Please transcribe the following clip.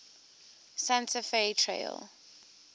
santa fe trail